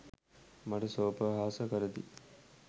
මට සෝපහාස කරති